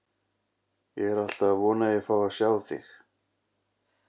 Ég er alltaf að vona að ég fái að sjá þig.